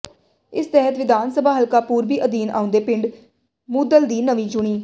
ਇਸੇ ਤਹਿਤ ਵਿਧਾਨ ਸਭਾ ਹਲਕਾ ਪੂਰਬੀ ਅਧੀਨ ਆਉਂਦੇ ਪਿੰਡ ਮੂਧਲ ਦੀ ਨਵੀਂ ਚੁਣੀ